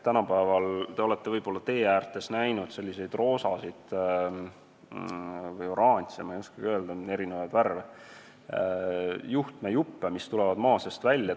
Te olete võib-olla teeäärtes näinud roosasid või oranže – neid on eri värvides – juhtmejuppe, mis maa seest välja tulevad.